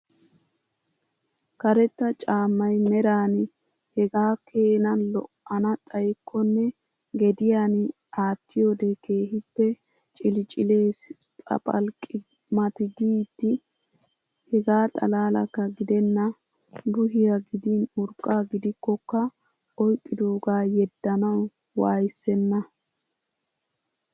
Karetta caammay meran hegaa keena lo"ana xayyikkonne gediyan aattiyoode keehiippe cilicilees papalqqi mati giidi. Hegaa xalaalakka gidenna buhiyaa gidin urqqaa gidikkokka oyqqidoogaa yeddanawu waayssenna.